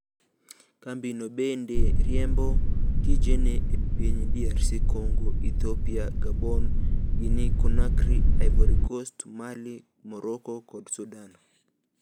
Kambi no bende riembo tijene e piny DRC Congo, Ethiopia, Gabon, Guinea Conakry, Ivory Coast, Mali, Morocco kod Sudan